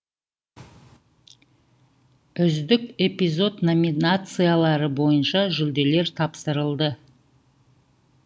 үздік эпизод номинациялары бойынша жүлделер тапсырылды